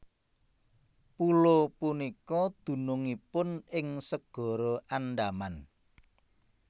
Pulo punika dunungipun ing Segara Andaman